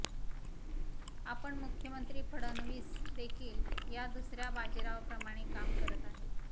आपण मुख्यमंत्री फडणवीस देखील या दुसऱ्या बाजीरावाप्रमाणे काम करत आहेत